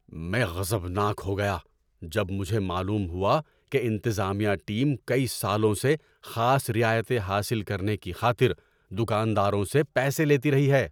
میں غضبناک ہو گیا جب مجھے معلوم ہوا کہ انتظامیہ ٹیم کئی سالوں سے خاص رعایتیں حاصل کرنے کی خاطر دکانداروں سے پیسے لیتی رہی ہے۔